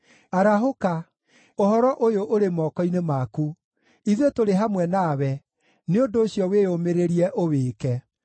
Arahũka; ũhoro ũyũ ũrĩ moko-inĩ maku. Ithuĩ tũrĩ hamwe nawe; nĩ ũndũ ũcio, wĩyũmĩrĩrie ũwĩke.”